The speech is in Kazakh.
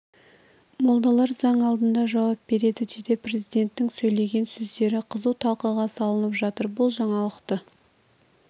молдадар заң алдында жауап береді деді президенттің сөйлеген сөздері қызу талқыға салынып жатыр бұл жаңалықты